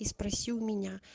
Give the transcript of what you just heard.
и спроси у меня